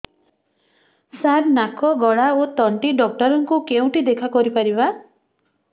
ସାର ନାକ ଗଳା ଓ ତଣ୍ଟି ଡକ୍ଟର ଙ୍କୁ କେଉଁଠି ଦେଖା କରିପାରିବା